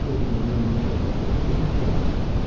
Bir də bu Deqriyenin necə, necə sevə bilmisən?